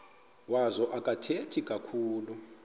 wazo akathethi kakhulu